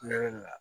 Ne bɛ